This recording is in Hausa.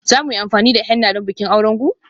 Za mu yi amfani da henna don bikin auren ku?